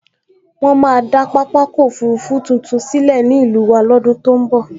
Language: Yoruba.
Wọ́n máa dá pápákọ̀ òfurufú tuntun sílẹ̀ ní ìlú wa lọ́dún tó n bọ̀